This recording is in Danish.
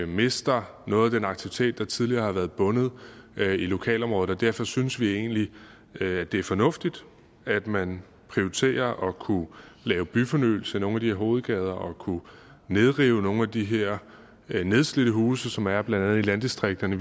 mister noget af den aktivitet der tidligere har været bundet i lokalområdet og derfor synes vi egentlig at det fornuftigt at man prioriterer at kunne lave byfornyelse i nogle af de hovedgader og kunne nedrive nogle af de her nedslidte huse som er blandt andet i landdistrikterne